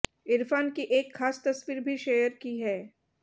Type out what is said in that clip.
इरफान की एक खास तस्वीर भी शेयर की है